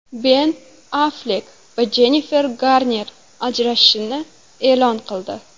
Ben Afflek va Jennifer Garner ajrashishini e’lon qildi.